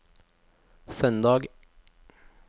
søndag